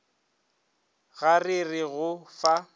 ga re re go fa